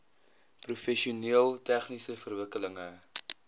professioneel tegniese verwikkelinge